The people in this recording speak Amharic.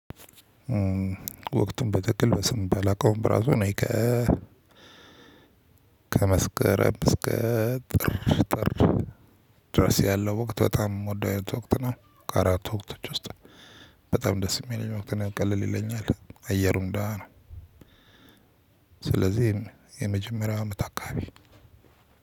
ወቅቱን በጥቅል በስም ባላውቀውም ራሱ እኔ። ከመስከረም እስከ ጥር ጥር ድረስ ያለው ወቅት በጣም የምወደው ወቅት ነው። ከአራቱ ወቅቶች ውስጥ በጣም ደስ የሚለኝ ወቅት ነው። ቀለል ይለኛል አየሩን ደህና ነው። ስለዚህ የመጀመሪያው አመት አካባቢ